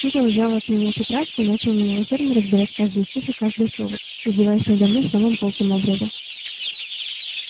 тут он взял от меня тетрадку и начал немилосердно разбирать каждый стих и каждое слово издеваясь надо мной самым колким образом